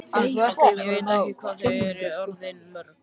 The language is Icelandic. Ég veit ekki hvað þau eru orðin mörg.